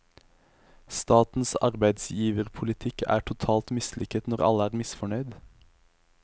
Statens arbeidsgiverpolitikk er totalt mislykket når alle er misfornøyd.